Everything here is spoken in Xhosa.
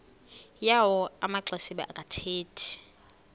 yawo amaxesibe akathethi